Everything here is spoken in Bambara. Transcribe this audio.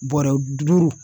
Bɔɔrɛ duuru